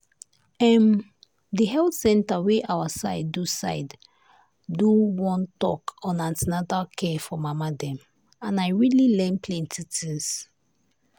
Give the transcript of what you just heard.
em the health center wey our side do side do one talk on an ten atal care for mama dem and i really learn plenty things.